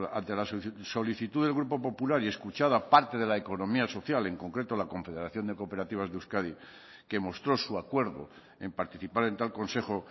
ante la solicitud del grupo popular y escuchada a parte de la economía social en concreto la confederación de cooperativas de euskadi que mostró su acuerdo en participar en tal consejo